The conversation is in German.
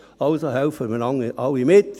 Also: Helfen wir alle mit.